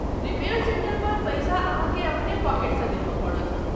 Repair centre पर पैसा अहाँके अपने पॉकेटसँ देबय पड़त।